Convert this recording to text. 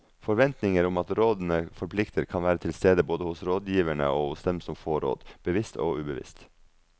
Forventninger om at rådene forplikter kan være til stede både hos rådgiverne og hos den som får råd, bevisst og ubevisst.